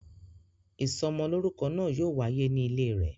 Ìsọmọ lórúkọ náà yóò wáyé ní ilé rẹ̀